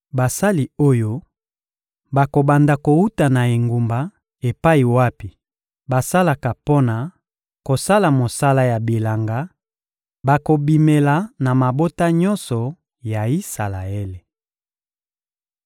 Basali oyo bakobanda kowuta na engumba epai wapi basalaka mpo na kosala mosala ya bilanga bakobimela na mabota nyonso ya Isalaele.